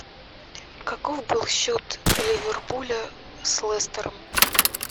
каков был счет ливерпуля с лестером